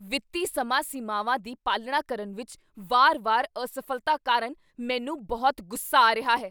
ਵਿੱਤੀ ਸਮਾਂ ਸੀਮਾਵਾਂ ਦੀ ਪਾਲਣਾ ਕਰਨ ਵਿੱਚ ਵਾਰ ਵਾਰ ਅਸਫ਼ਲਤਾ ਕਾਰਨ ਮੈਨੂੰ ਬਹੁਤ ਗੁੱਸਾ ਆ ਰਿਹਾ ਹੈ